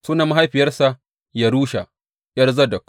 Sunan mahaifiyarsa Yerusha, ’yar Zadok.